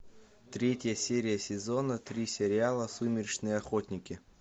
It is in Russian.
третья серия сезона три сериала сумеречные охотники